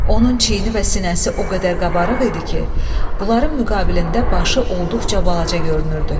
Onun çiyini və sinəsi o qədər qabarıq idi ki, onların müqabilində başı olduqca balaca görünürdü.